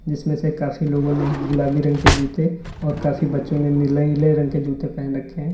जीसमें से काफी लोगों ने गुलाबी रंग के जूते और काफी बच्चों ने नीले नीले रंग के जूते पहन रखे हैं।